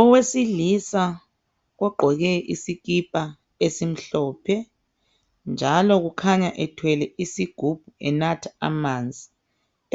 Owesilisa ogqoke isikipa esimhlophe njalo kukhanya ethwele isigubhu enatha amanzi.